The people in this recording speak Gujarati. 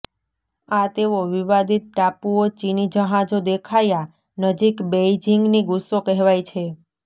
આ તેઓ વિવાદિત ટાપુઓ ચિની જહાજો દેખાયા નજીક બેઇજિંગની ગુસ્સો કહેવાય છે